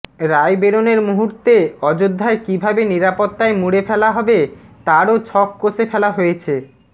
রায় বেরনোর মুহূর্তে অযোধ্যায় কীভাবে নিরাপত্তায় মুড়ে ফেলা হবে তারও ছক কষে ফেলা হয়েছে